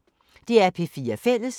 DR P4 Fælles